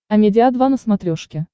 амедиа два на смотрешке